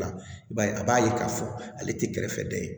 I b'a ye a b'a ye k'a fɔ ale tɛ kɛrɛfɛ dɛ